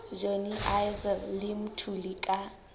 johnny issel le mthuli ka